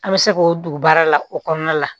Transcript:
An bɛ se k'o don baara la o kɔnɔna la